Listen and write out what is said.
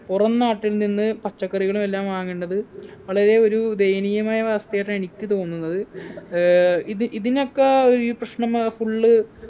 പുറം നാട്ടിൽ നിന്ന് പച്ചക്കറികളും എല്ലാം വാങ്ങേണ്ടത് വളരെ ഒരു ദയനീയമായ അവസ്ഥയായിട്ടാ എനിക്ക് തോന്നുന്നത് ഏർ ഇത് ഇതിനൊക്കെ ഈ പ്രശനമാ full